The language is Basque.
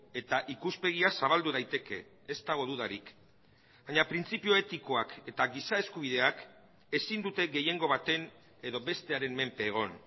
eta ikuspegia zabaldu daiteke ez dago dudarik baina printzipio etikoak eta giza eskubideak ezin dute gehiengo baten edo bestearen menpe egon